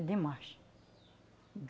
É demais.